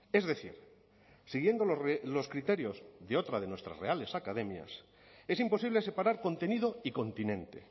es decir siguiendo los criterios de otra de nuestras reales academias es imposible separar contenido y continente